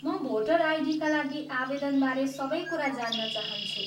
म भोटर आइडीका लागि आवेदनबारे सबै कुरा जान्न चाहन्छु।